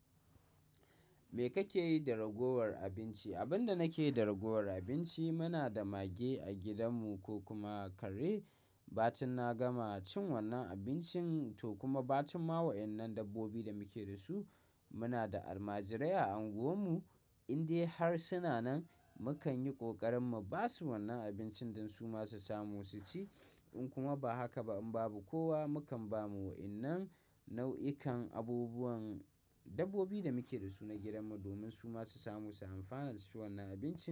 Me kake yi da ragowar abinci? Abin da nake da ragowar abinci, muna da mage a gidanmu ko kuma kare. Ba tun na gama cin wannan abincin to kuma ba tun ma wa'ennan dabbobi da muke da su. Muna da almajirai a unguwarmu, in dai har suna nan, mu kan yi ƙoƙarin ba su wannan abincin don su ma su samu su ci. In kuma ba haka ba in babu kowa, mu kan ba mu wa'innan nau'ikan abubuwan dabbobi da muke da su na gidanmu domin su ma su samu su amfana su ci wannan abinci.